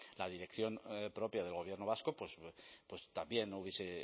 la dirección propia del gobierno vasco también hubiese